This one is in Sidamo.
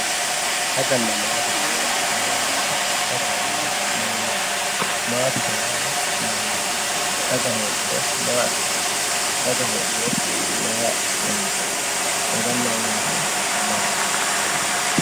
Daganna matete yaa mayaaye dagate yaa mayaaye maatete yaano mayaate faga hedhuro maa afinani daga hooguro maa hongemo fagana maatete badooshu maati.